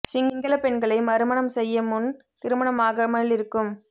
சிங்களப் பெண்களை மறுமண்ம் செய்ய முன் திருமணமாகமிலிருக்கும்